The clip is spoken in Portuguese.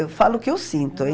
Eu falo o que eu sinto, hein?